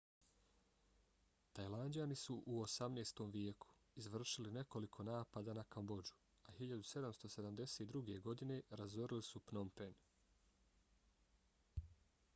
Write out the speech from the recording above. tajlanđani su u 18. vijeku izvršili nekoliko napada na kambodžu a 1772. godine razorili su pnom phen